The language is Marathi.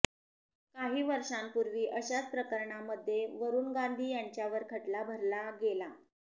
काही वर्षापूर्वी अशाच प्रकरणामध्ये वरुण गांधी यांच्यावर खटला भरला गेला